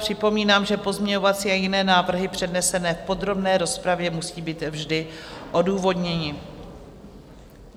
Připomínám, že pozměňovací a jiné návrhy přednesené v podrobné rozpravě musí být vždy odůvodněny.